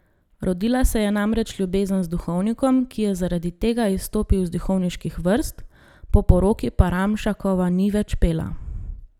Rodila se je namreč ljubezen z duhovnikom, ki je zaradi tega izstopil iz duhovniških vrst, po poroki pa Ramšakova ni več pela.